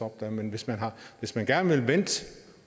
op der men hvis man hvis man gerne vil vente